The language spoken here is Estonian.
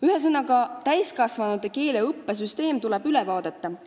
Ühesõnaga, täiskasvanute keeleõppe süsteem tuleb üle vaadata.